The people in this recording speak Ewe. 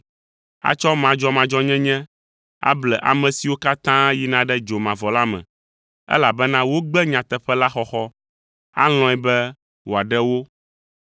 Atsɔ madzɔmadzɔnyenye able ame siwo katã yina ɖe dzomavɔ la me, elabena wogbe nyateƒe la xɔxɔ, alɔ̃e be wòaɖe wo o,